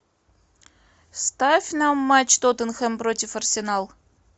ставь нам матч тоттенхэм против арсенал